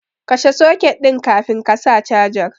Kashe soket ɗin kafin ka saka cajar.